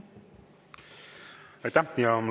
Aitäh!